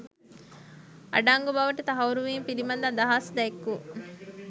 අඩංගු බවට තහවුරු වීම පිළිබඳ අදහස් දැක්වූ